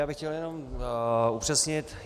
Já bych chtěl jenom upřesnit.